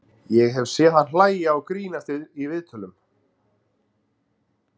Ég hef séð hann hlæja og grínast í viðtölum.